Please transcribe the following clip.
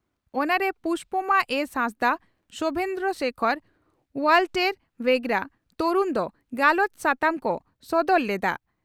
ᱚᱱᱟ ᱨᱮ ᱯᱩᱥᱯᱚᱢᱟ ᱮᱥᱹ, ᱦᱟᱸᱥᱫᱟᱜ ᱥᱚᱣᱵᱷᱮᱱᱫᱨᱚ ᱥᱮᱠᱷᱚᱨ, ᱚᱣᱟᱞᱴᱮᱨ ᱵᱷᱮᱜᱨᱟ ᱛᱚᱨᱩᱱ ᱫᱚ ᱜᱟᱞᱚᱪ ᱥᱟᱛᱟᱢ ᱠᱚ ᱥᱚᱫᱚᱨ ᱞᱮᱫᱼᱟ ᱾